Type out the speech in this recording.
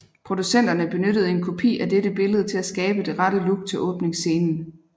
Producenterne benyttede en kopi af dette billede til at skabe det rette look til åbningsscenen